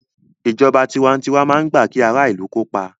Ìjọba tiwantiwa máa ń gbà kí ara ìlù kópa